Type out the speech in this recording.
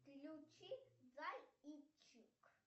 включи зайчик